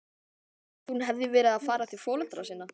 Að hún hefði verið að fara til foreldra sinna?